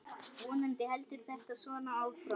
Vonandi heldur þetta svona áfram.